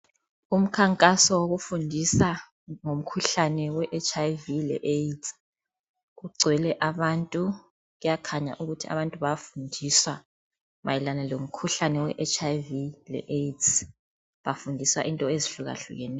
Umkhankaso wokufundisa ngomkhuhlane weHIV leAIDS. Kugcwele abantu kuyakhanya ukuthi abantu bayafundisa mayelana lomkhuhlane weHIV leAIDS bafundisa into ezihlukahlukaneyo.